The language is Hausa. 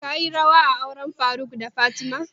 Ka yi rawa a auren faruk da fatima?